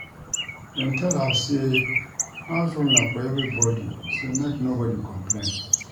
Dem tell us sey house rule na for everybodi sey make nobodi complain.